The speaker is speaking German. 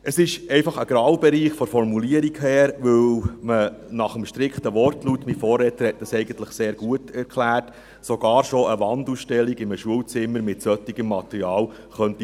Es ist von der Formulierung her ein Graubereich, weil man nach dem strikten Wortlaut sogar schon eine Wandausstellung in einem Schulzimmer mit solchem Material verbieten könnte.